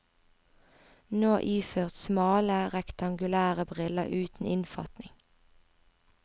Nå iført smale, rektangulære briller uten innfatning.